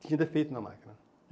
Tinha defeito na máquina.